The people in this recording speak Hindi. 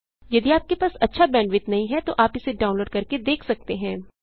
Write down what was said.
यदि आपके पास अच्छा बैंडविड्थ नहीं है तो आप इसे डाउनलोड करके देख सकते हैं